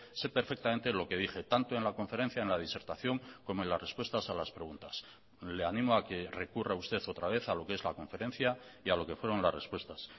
sé perfectamente lo que dije tanto en la conferencia en la disertación como en las respuestas a las preguntas le animo a que recurra usted otra vez a lo que es la conferencia y a lo que fueron las respuestas